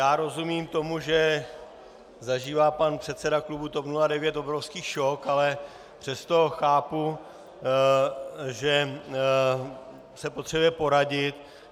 Já rozumím tomu, že zažívá pan předseda klubu TOP 09 obrovský šok, ale přesto chápu, že se potřebuje poradit.